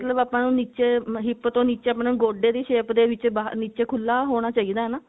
ਮਤਲਬ ਆਪਾਂ ਨੂੰ ਨਿੱਚੇ hip ਤੋਂ ਨਿੱਚੇ ਆਪਾਂ ਨੂੰ ਗੋਡੇ ਦੀ shape ਦੇ ਵਿੱਚ ਬਾਹਰ ਨਿੱਚੇ ਖੁੱਲਾ ਹੋਣਾ ਚਾਹਿਦਾ ਹੈ ਨਾ